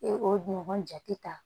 E o ɲɔgɔn jate ta